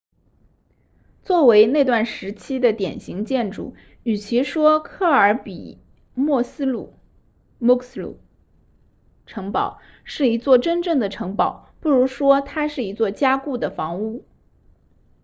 作为那段时期的典型建筑与其说克尔比墨斯鲁 muxloe 城堡是一座真正的城堡不如说它是一座加固的房屋